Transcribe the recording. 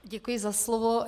Děkuji za slovo.